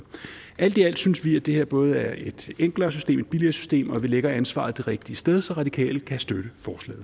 alt i alt synes vi at det her både er et enklere system et billigere system og at vi lægger ansvaret det rigtige sted så radikale kan støtte